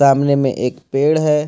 सामने में एक पेड़ है।